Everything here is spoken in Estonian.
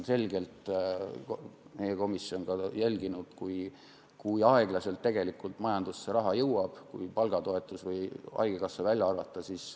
Meie komisjon on jälginud, kui aeglaselt tegelikult majandusse raha jõuab, kui palgatoetus või haigekassa välja arvata.